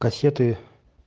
кассеты